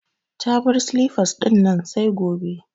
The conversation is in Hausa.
Ta bar silifas dinnan sai gobe